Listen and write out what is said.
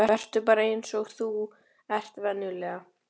Vertu bara eins og þú ert venjulega.